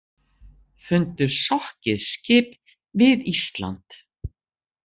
Fundu sokkið skip við Ísland